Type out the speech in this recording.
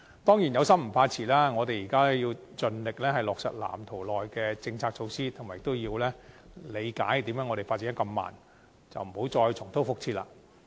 當然，有心不怕遲，我們現在要盡力落實《藍圖》內的政策措施，亦要理解我們為何發展得這麼慢，不要再重蹈覆轍。